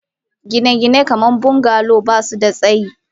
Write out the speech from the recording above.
Gine-gine kamar bungalow ba su da tsayi.